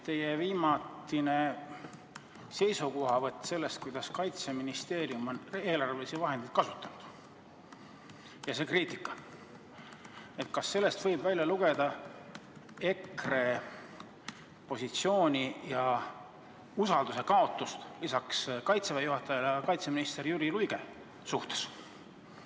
Teie viimatine seisukohavõtt selle kohta, kuidas Kaitseministeerium on eelarvelisi vahendeid kasutanud, ja see kriitika – kas sellest võib välja lugeda EKRE positsiooni ja usalduse kaotuse lisaks Kaitseväe juhatajale ka kaitseminister Jüri Luige suhtes?